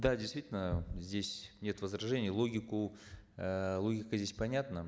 да действительно здесь нет возражений логику э логика здесь понятна